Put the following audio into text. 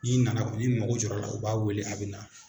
N'i nana, ni mago jɔ l'a la, u b'a weele a bɛ na.